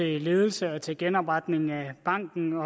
ledelse og til genopretning af banken